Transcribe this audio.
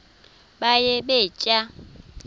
baye bee tyaa